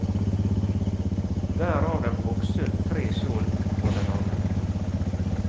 Hver av dem hogg sund tre skjold for den annen.